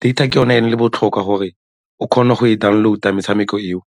Data ke yone e botlhokwa gore o kgone go e download-a metshameko eo.